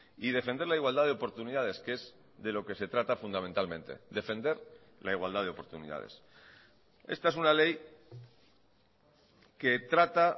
y defender la igualdad de oportunidades que es de lo que se trata fundamentalmente defender la igualdad de oportunidades esta es una ley que trata